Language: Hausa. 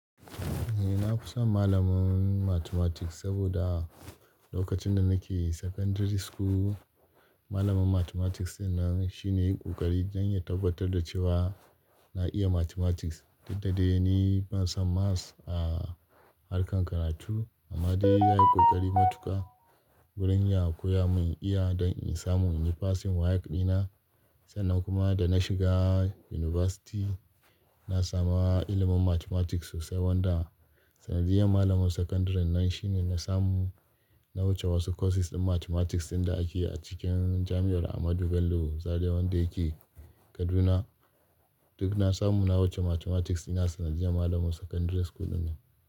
Eh na fi son malamin Mathematics saboda lokacin da nake secondary school, malamin Mathematics di na shine ya yi ƙoƙari don ya tabbatar da cewa na iya Mathematics. Duk dade ni ban san maths a harkar karatu amma dai ya yi kokari matuƙa wurin ya koya mun iya don in samu in yi passing WAEC dina. Sannan kuma da na shiga university, na samu ilimin Mathematics sosai wanda sanadiyar malamin secondary nan shine na samu. Na wuce wasu courses ɗin Mathematics ɗin da ake a cikin jami'ar Ahmadu Bello Zaria wanda yake Kaduna. Duk na samu na wuce Mathematics di na sanadiyar malamin secondary school din nan.